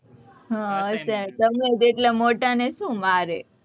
હમ તમે જ એટલા મોટા ને શું મારે?